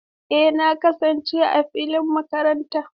Eh, na kasance a filin makaranta.